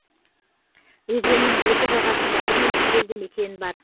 өзеннің екі жағасында бірнеше елді мекен бар